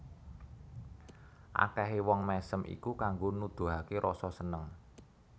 Akèhé wong mèsem iku kanggo nuduhaké rasa seneng